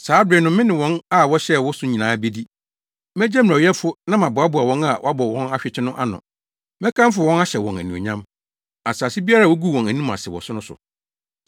Saa bere no me ne wɔn a wɔhyɛɛ wo so nyinaa bedi. Megye mmerɛwyɛfo na mɛboaboa wɔn a wɔabɔ wɔn ahwete no ano. Mɛkamfo wɔn ahyɛ wɔn anuonyam asase biara a woguu wɔn anim ase wɔ so no so.